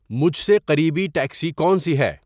مجھ سے قریبی ٹیکسی کونسی ہے